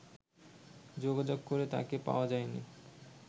যোগাযোগ করে তাকে পাওয়া যায়নি